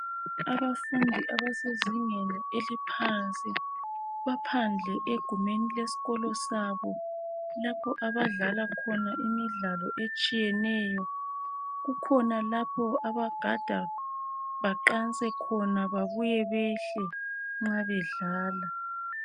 Abafundi abesezingeni eliphansi baphandle egumeni leskolo sabo .Lapho abadlala khona imidlalo etshiyeneyo. Kukhona lapho abagada khona babuye behle nxa bedlala.